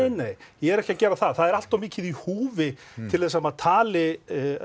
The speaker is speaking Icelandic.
nei ég er ekki að gera það það er allt of mikið í húfi til að maður tali